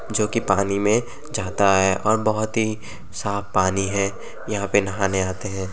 जोकि पानी में जाता है और बोहोत ही साफ पानी है यहां पे नहाने आते हैं।